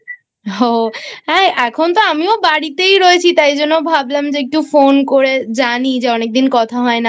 ও এখন আমিও তো বাড়িতেই রয়েছি তাই জন্য ভাবলাম একটু Phone করে জানি অনেকদিন কথা হয় না